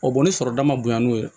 ni sɔrɔda ma bonya n'o ye